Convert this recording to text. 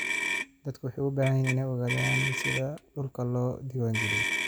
Dadku waxay u baahan yihiin inay ogaadaan sida dhulka loo diiwaangeliyo.